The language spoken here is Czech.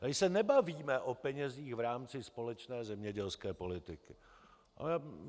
Tady se nebavíme o penězích v rámci společné zemědělské politiky.